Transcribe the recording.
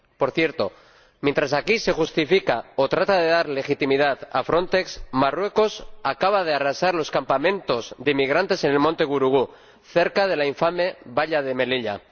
Por cierto, mientras que aquí se justifica o se trata de dar legitimidad a Frontex, Marruecos acaba de arrasar los campamentos de inmigrantes en el monte Gurugú, cerca de la infame valla de Melilla.